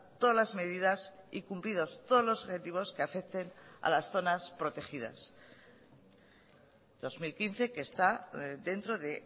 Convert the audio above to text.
todas las medidas y cumplidos todos los objetivos que afecten a las zonas protegidas dos mil quince que está dentro de